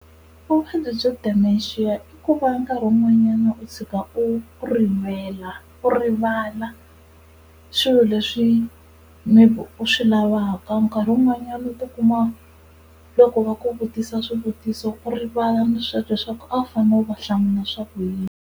Vuvabyi byo Dementia i ku va nkarhi wun'wanyana u tshika u rivele, u rivala swilo leswi maybe u swi lavaka nkarhi wun'wanyani u ti kuma loko va ku vutisa swivutiso u rivala naswona leswaku a wu fane u va hlamula swa ku yini.